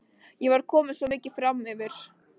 Ég var komin svo mikið framyfir.